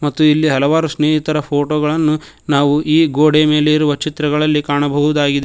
ಮತ್ತು ಇಲ್ಲಿ ಹಲವಾರು ಸ್ನೇಹಿತರ ಫೋಟೋ ಗಳನ್ನು ನಾವು ಈ ಗೋಡೆಯ ಮೇಲೆ ಇರುವ ಚಿತ್ರಗಳಲ್ಲಿ ಕಾಣಬಹುದಾಗಿದೆ.